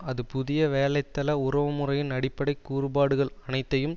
அது புதிய வேலைத்தல உறவு முறையின் அடிப்படை கூறுபாடுகள் அனைத்தையும்